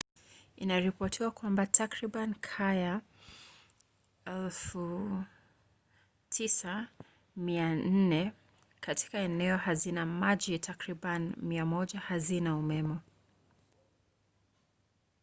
inaripotiwa kwamba takribani kaya 9400 katika eneo hazina maji na takribani 100 hazina umeme